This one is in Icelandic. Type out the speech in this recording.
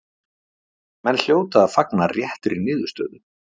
Menn hljóta að fagna réttri niðurstöðu.